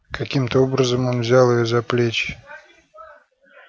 каким то образом он взял её за плечи